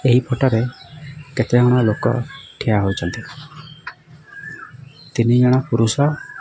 ଏହି ଫଟାରେ କେତେ ଜଣ ଲୋକ ଠିଆ ହୋଇଚନ୍ତି ତିନି ଜଣ ପୁରୁଷ--